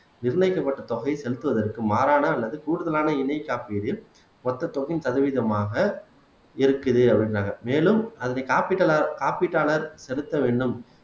நிர்ணயிக்கப்பட்ட தொகையை செலுத்துவதற்கு மாறான அல்லது கூடுதலான இணை காப்பிடில் மொத்த தொகையின் சதவீதமாக இருக்குது அப்படின்றாங்க மேலும் அதனுடைய காப்பீட்டு காப்பீட்டாளர் செலுத்த வேண்டும்